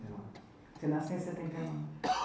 Você nasceu em setenta e nove.